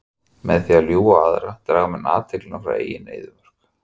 Með því að ljúga á aðra draga menn athyglina frá eigin eyðimörk.